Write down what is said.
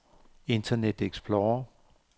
internet explorer